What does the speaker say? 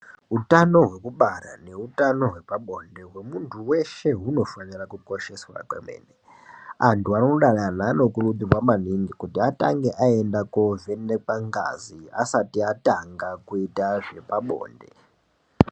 Utano hekubara neutano hwepabonde hwemuntu veshe hunofanira kukosheswa kwemene. Antu anodanana anokurudzirwa maningi kuti atange aenda kovenekwa ngazi asati atanga kuita zvepabonde.